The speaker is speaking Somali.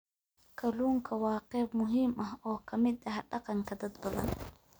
Kalluunku waa qayb muhiim ah oo ka mid ah dhaqanka dad badan.